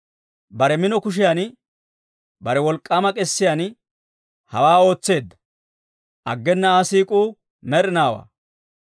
Bare mino kushiyan, bare wolk'k'aama k'esiyaan hawaa ootseedda; aggena Aa siik'uu med'inaawaa.